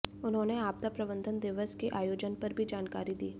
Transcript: उन्होंने आपदा प्रबंधन दिवस के आयोजन पर भी जानकारी दी